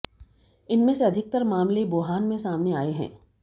इनमें से अधिकतर मामले वुहान में सामने आए हैं